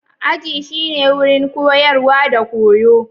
Aji shine wurin koyarwa da koyo.